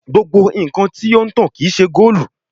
Gbogbo nkan ti o n tan kii ṣe goolu